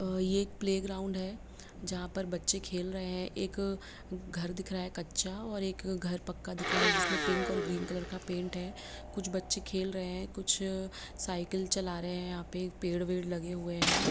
ये एक playground है जहा और बच्चे खेल् रहे है एक घर दिख रहा है कच्चा और एक घर दिख रहा है पक्का जिसमे पिंक और ग्रीन कलर का पेंट है कुछ बच्चे खेल रहे है कुछ सायकल चला रहे है यहा पे पेड़ वेद लगे है लगे हुए है।